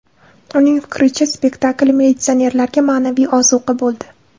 Uning fikricha, spektakl militsionerlarga ma’naviy ozuqa bo‘ldi.